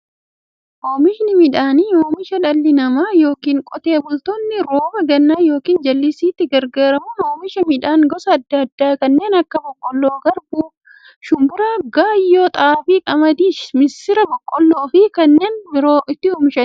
Oomishni midhaanii, oomisha dhalli namaa yookiin Qotee bultoonni rooba gannaa yookiin jallisiitti gargaaramuun oomisha midhaan gosa adda addaa kanneen akka; boqqoolloo, garbuu, shumburaa, gaayyoo, xaafii, qamadii, misira, boloqqeefi kanneen biroo itti oomishaniidha.